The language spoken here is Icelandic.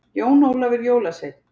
Jón Ólafur jólasveinn